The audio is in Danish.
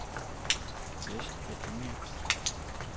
West Virginia